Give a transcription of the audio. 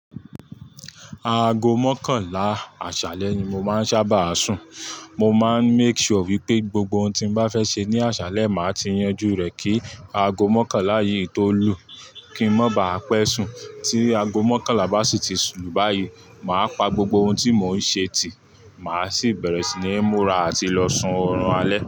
Aago mọ́kànlá àṣálẹ́ ni mo máa ń sábà sùn. Mo máa ń make sure wípé gbogbo ohun tí n bá fẹ́ ṣe ní àṣálẹ́ máa ti yanjú rẹ̀ kí aago mọ́kànlá yìí tó lù kí ń má bàá pé sùn. Tí aago mọ́kànlá bá sì ti lù báyìí, màá pa gbogbo ohun tí mò ń ṣe tì, màá sì bẹ̀rẹ̀ sí ní múra àti lọ sun ọ̀run alẹ́